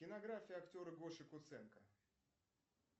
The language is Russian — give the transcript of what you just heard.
кинография актера гоши куценко